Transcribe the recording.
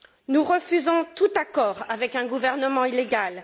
Nous refusons tout accord avec un gouvernement illégal.